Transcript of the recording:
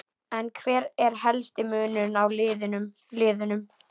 En hver er helsti munurinn á liðunum?